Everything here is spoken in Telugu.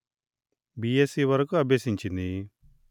బీఎస్సీ వరకు అభ్యసించింది